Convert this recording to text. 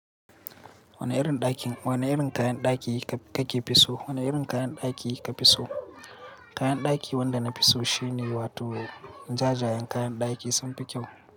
Wane irin ɗakin, wane irin kayan ɗaki kake fi so? Wane irin kayan ɗaki ka fi so? Kayan ɗaki wanda na fi so shine wato jajayen kayan ɗaki sun fi kyau.